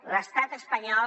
l’estat espanyol